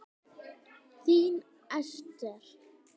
Þín Esther.